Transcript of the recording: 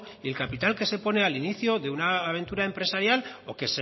y el capital que se pone al inicio de una aventura empresarial